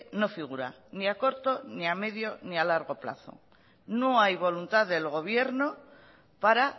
no figura ni a corto ni a medio ni a largo plazo no hay voluntad del gobierno para